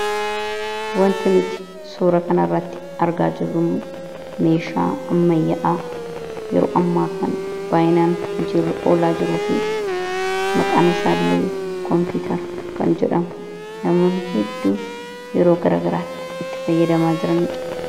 wanti nuti suura kana irratti argaa jirru meeshaa ammayya’aa yeroo ammaa kan baayinaan hojirra oolaa jiruu fi maqaan isaallee koompiitara kan jedhamu namoonni hedduun yeroo garagaraatti itti fayyadamaa jiranidha